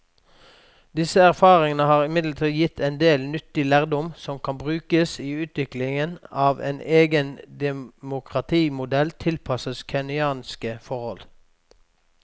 Disse erfaringene har imidlertid gitt en del nyttig lærdom som kan brukes i utviklingen av en egen demokratimodell tilpasset kenyanske forhold.